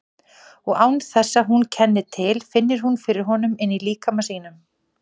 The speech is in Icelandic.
Og án þess að hún kenni til finnur hún fyrir honum inní líkama sínum.